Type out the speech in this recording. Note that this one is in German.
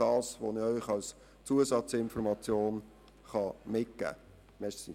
Das kann ich Ihnen als Zusatzinformation mitgeben.